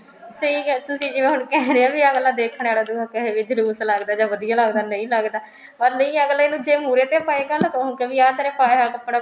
ਸਹੀ ਕਿਹਾ ਤੁਸੀਂ ਹੁਣ ਜਿਵੇਂ ਕਹਿ ਰਹੇ ਹੋ ਨਾ ਵੀ ਅੱਗਲਾ ਦੇਖਣ ਵਾਲਾ ਵੀ ਕਹੇ ਕਿ ਜਲੂਸ ਲੱਗਦਾ ਜਾਂ ਵਧੀਆ ਲੱਗਦਾ ਜਾਂ ਨਹੀਂ ਲੱਗਦਾ ਪਰ ਨਹੀਂ ਅੱਗਲੇ ਨੂੰ ਜੇ ਮੁਹਰੇ ਤੇ ਪਏਗਾ ਨਾ ਵੀ ਆਹ ਤੇਰੇ ਪਾਇਆ ਹੋਇਆ ਕੱਪੜਾ